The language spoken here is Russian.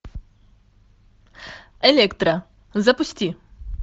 электра запусти